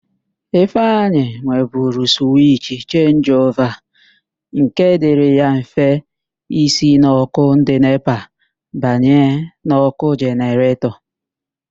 Ifeanyi nweburu suwich chenjiova nke dịrị ya mfe ísī n' ọ́kụ́ ndị NEPA banye na nke jeneretọ.